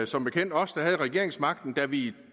som bekendt os der havde regeringsmagten da vi